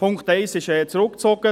Der Punkt 1 ist zurückgezogen.